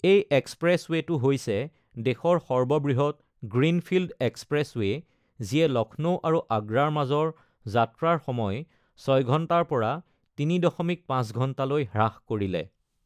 এই এক্সপ্ৰেছৱেটো হৈছে দেশৰ সৰ্ববৃহৎ গ্ৰীণফিল্ড এক্সপ্ৰেছৱে যিয়ে লক্ষ্ণৌ আৰু আগ্ৰাৰ মাজৰ যাত্ৰাৰ সময় ৬ ঘণ্টাৰ পৰা ৩.৫ ঘণ্টালৈ হ্ৰাস কৰিলে।